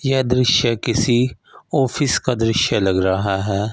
यह दृश्य किसी ऑफिस का दृश्य लग रहा है।